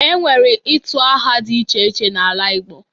E nwere itu aha dị iche iche n'ala Igbo